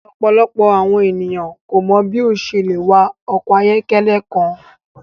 Ọpọlọpọ awọn eniyan ko mọ bi o ṣe le wa ọkọ ayọkẹlẹ kan